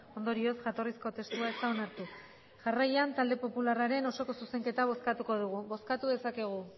ondorioz jatorrizko testua ez da onartu jarraian talde popularraren osoko zuzenketa bozkatuko dugu bozkatu dezakegu